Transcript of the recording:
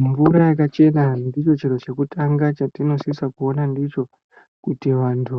Murume akachena ndicho chiro chekutanga chatinosisa kuona ndicho kuti vantu